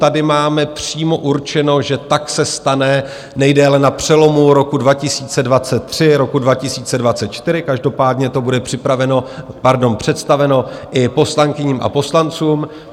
Tady máme přímo určeno, že tak se stane nejdéle na přelomu roku 2023 - roku 2024, každopádně to bude představeno i poslankyním a poslancům.